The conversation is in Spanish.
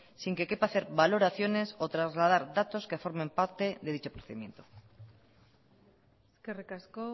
sin que quepa hacer valoraciones o trasladar datos que forman parte de dicho procedimiento eskerrik asko